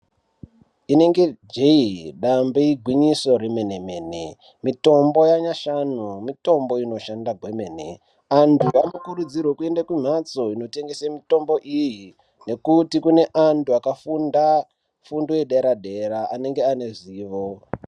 Inenge jee, dambe igwinyiso remene-mene, mitombo yanyashanu mitombo inoshanda kwemene, antu anokurudzirwe kuende kumhatso inotengese mitombo iyi nekuti kune antu akafunda fundo yedera-dera anenge ane zivo.